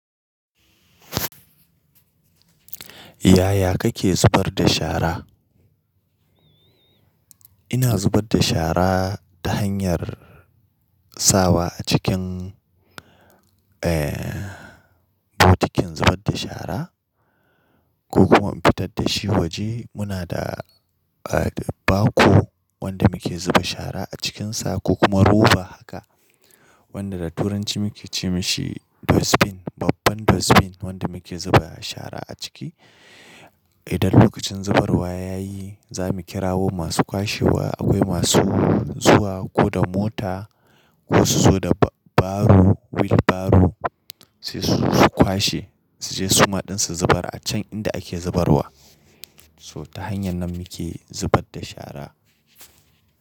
Yaya kake zubar da shara? Ina zubar da shara ta hanyar sawa a cikin, eh, bokitin zubar da shara ko kuma in fitar da shi waje. Muna da, ah, ba ko wanda muke zuba shara a cikinsa ko kuma roba haka wanda da turanci muke ce ma shi dustbin, babban dustbin wanda muke zuba shara a ciki. Idan lokacin zubarwa ya yi, za mu kirawo masu kwashewa. Akwai masu zuwa ko da mota ko su zo da ba-baru, wheel barrow sai su, su kwashe, su je suma ɗin su zubar a can inda ake zubarwa. So ta hanyar nan muke zubar da shara.